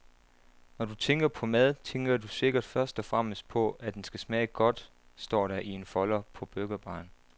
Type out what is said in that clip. Når du tænker på mad, tænker du sikkert først og fremmest på, at den skal smage godt, står der i en folder på burgerbaren.